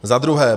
Za druhé.